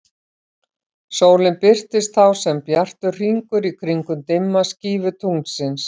Sólin birtist þá sem bjartur hringur í kringum dimma skífu tunglsins.